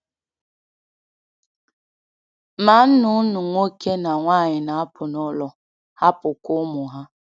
Ma nnụnụ nwoke na nwanyị na-apụ n’ụlọ, hapụkwa ụmụ ha.